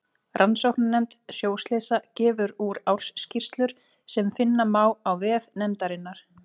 Rannsóknarnefnd sjóslysa gefur úr ársskýrslur sem finna má á vef nefndarinnar.